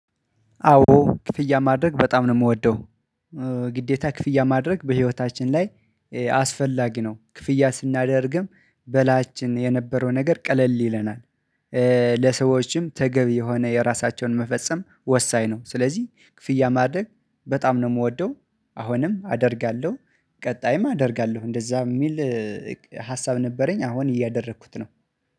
አዎ ክፍያ ማድረግ በጣም ነው የምወደው። ግዴታ ክፍያ ማድረግ በህይወታችን ላይ አስፈላጊ ነው ክፍያ ስናደርግም በላችን የነበረው ነገር ቀለል ይለናል። ለሰዎችም ተገቢ የሆነ የራሳቸውን መፈጸም ወሳኝ ነው። ስለዚህ ክፍያ ማድረግ በጣም ነው የምወደው። አሁንም አደርጋለሁ። ቀጣይም አደርጋለሁ እንደዛ የሚል ሀሳብ ነበረኝ አሁን እያደረኩት ነው